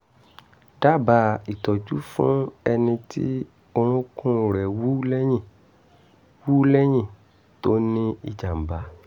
dábàá ìtọ́jú fún ẹni tí orúnkún rẹ̀ wú lẹ́yìn wú lẹ́yìn tó ní ìjàm̀bá